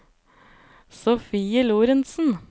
Sofie Lorentsen